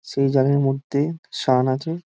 সেই জালের মধ্যে শান আছে।